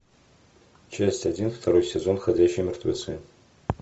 часть один второй сезон ходячие мертвецы